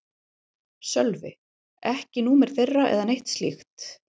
Sölvi: Ekki númer þeirra eða neitt slíkt?